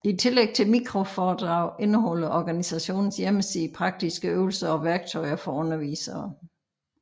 I tillæg til mikroforedrag indeholder organisationens hjemmeside praktiske øvelser og værktøjer for undervisere